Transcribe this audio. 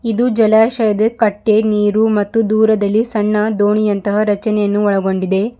ಇದು ಜಲಾಶಯದ ಕಟ್ಟೆ ನೀರು ಮತ್ತು ದೂರದಲ್ಲಿ ಸಣ್ಣ ದೋಣಿ ಅಂತಹ ರಚನೆಯನ್ನು ಒಳಗೊಂಡಿದೆ.